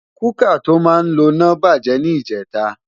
Kúkà tó máa ń loná bàjẹ́ ní ìjẹta